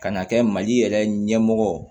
Ka n'a kɛ mali yɛrɛ ɲɛmɔgɔ ye